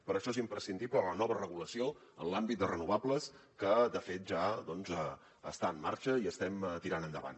per això és imprescindible la nova regulació en l’àmbit de renovables que de fet ja està en marxa i estem tirant endavant